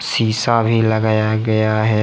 शीशा भी लगाया गया है।